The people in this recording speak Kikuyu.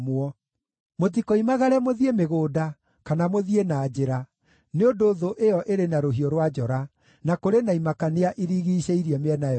Mũtikoimagare mũthiĩ mĩgũnda, kana mũthiĩ na njĩra, nĩ ũndũ thũ ĩyo ĩrĩ na rũhiũ rwa njora, na kũrĩ na imakania irigiicĩirie mĩena yothe.